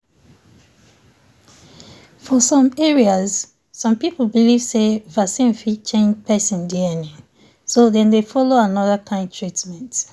for some areas some people believe say vaccine fit change person dna so dem dey follow another kind treatment.